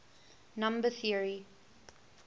number theory